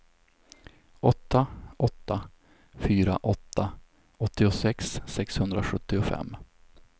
åtta åtta fyra åtta åttiosex sexhundrasjuttiofem